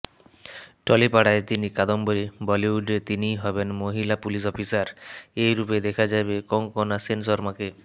টলিপাড়ায় তিনি কাদম্বরী বলিউডে তিনিই হবেন মহিলা পুলিশ অফিসার এ রূপেই দেখা যাবে কঙ্কণা সেনশর্মাকে